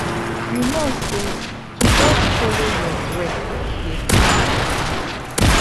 you know say to just follow your breath dey calm person